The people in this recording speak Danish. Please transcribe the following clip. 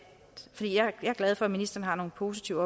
glad for at ministeren har nogle positive